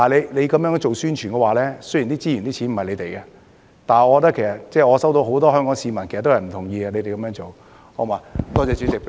如果這樣做宣傳，雖然資源和金錢不是你們的，但我收到很多香港市民的意見，表示不同意你們這樣做。